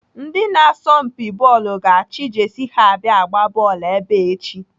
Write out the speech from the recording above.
Ndị na-asọmpi bọọlụ ga-achị Jesi ha abịa agba bọọlụ ebe a echi.